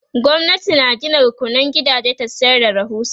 gwamnati na Gina rukunan gidaje ta sayar da rahusa